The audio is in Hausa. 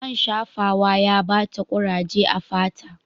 Man shafawa ya ba ta kuraje a fata